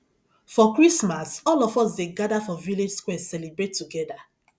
for christmas all of us dey gada for village square celebrate togeda